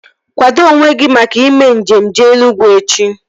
Kwado onwe gị maka ime njem jee Enugwu echi!